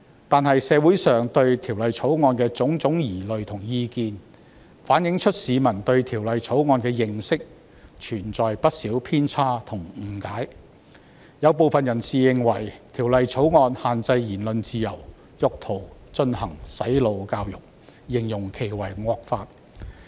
但是，社會上對《條例草案》的種種疑慮和意見，反映出市民對《條例草案》的認識存在不少偏差及誤解，有部分人士認為《條例草案》限制言論自由，意圖進行"洗腦"教育，因而稱之為惡法。